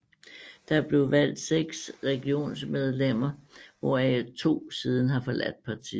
Der blev valgt 6 regionsrådsmedlemmer hvoraf 2 siden har forladt partiet